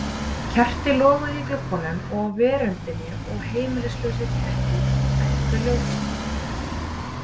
Kerti loguðu í gluggum og á veröndum og heimilislausir kettir eltu ljósið.